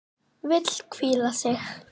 Vill hvíla sig.